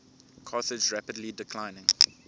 carthage rapidly declining